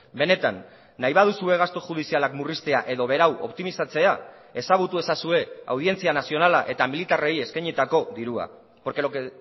benetan nahi baduzue gastu judizialak murriztea edo berau optimizatzea ezagutu ezazue audientzia nazionala eta militarrei eskainitako dirua porque lo que